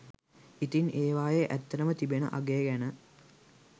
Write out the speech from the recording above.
ඉතින් ඒවායේ ඇත්තටම තිබෙන අගය ගැන